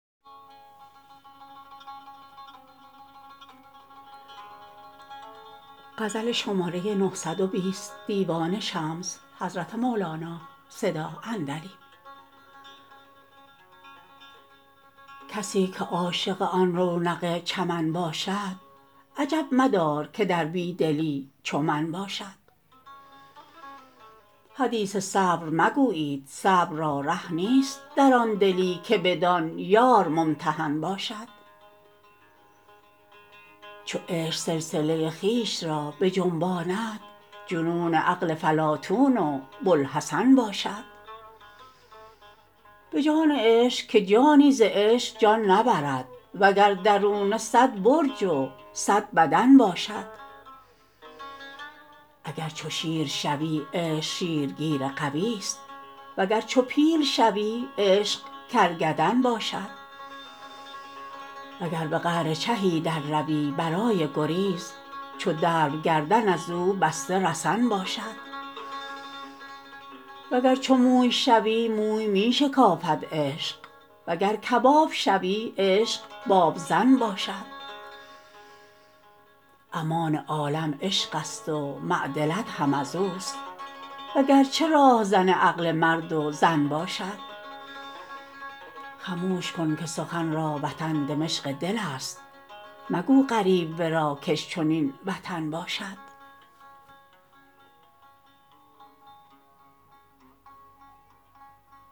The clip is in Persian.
کسی که عاشق آن رونق چمن باشد عجب مدار که در بی دلی چو من باشد حدیث صبر مگویید صبر را ره نیست در آن دلی که بدان یار ممتحن باشد چو عشق سلسله خویش را بجنباند جنون عقل فلاطون و بوالحسن باشد به جان عشق که جانی ز عشق جان نبرد وگر درونه صد برج و صد بدن باشد اگر چو شیر شوی عشق شیرگیر قویست وگرچه پیل شوی عشق کرکدن باشد وگر به قعر چهی درروی برای گریز چو دلو گردن از او بسته رسن باشد وگر چو موی شوی موی می شکافد عشق وگر کباب شوی عشق بابزن باشد امان عالم عشقست و معدلت هم از اوست وگرچه راهزن عقل مرد و زن باشد خموش کن که سخن را وطن دمشق دلست مگو غریب ورا کش چنین وطن باشد